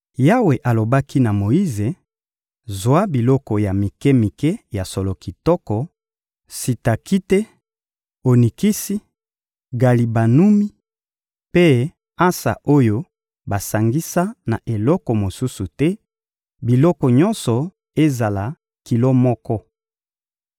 Yawe alobaki na Moyize: — Zwa biloko ya mike-mike ya solo kitoko: sitakite, onikisi, galibanumi mpe ansa oyo basangisa na eloko mosusu te; biloko nyonso ezala kilo moko.